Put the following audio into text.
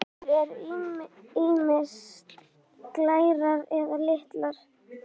Steindir eru ýmist glærar eða litaðar.